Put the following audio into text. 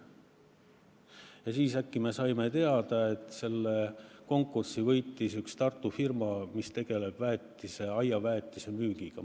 Ja ühel päeval me saime äkki teada, et selle konkursi võitis üks Tartu firma, mis tegeleb aiaväetise müügiga.